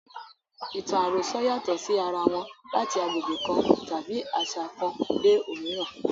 Ìtàn àròsọ yàtọ̀ sí ara wọn láti agbègbè kan tàbí àṣà kan dé òmíràn.